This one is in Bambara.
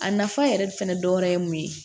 A nafa yɛrɛ fɛnɛ dɔ wɛrɛ ye mun ye